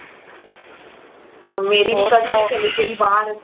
ਹੁਣ ਮੇਰੀ ਵੀ COUSIN ਚਲੇ ਗਯੀ ਬਾਹਰ